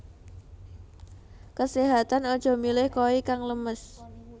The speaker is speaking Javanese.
Keséhatan aja milih koi kang lemes